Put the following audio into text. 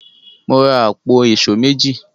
Mo ra àpò èṣó méjì.